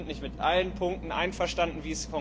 Wir sind nicht mit allen Punkten einverstanden.